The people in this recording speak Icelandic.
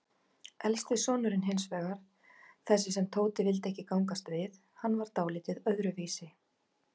Elsti sonurinn hinsvegar, þessi sem Tóti vildi ekki gangast við, hann var dáldið öðruvísi.